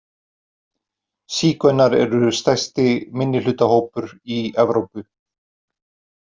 Sígaunar eru stærsti minnihlutahópur í Evrópu.